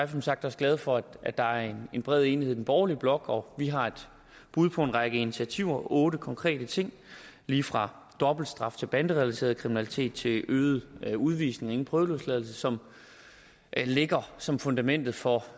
som sagt også glade for at der er en bred enighed i den borgerlige blok og vi har et bud på en række initiativer otte konkrete ting lige fra dobbeltstraf til banderelateret kriminalitet til øget udvisning ingen prøveløsladelse som ligger som fundamentet for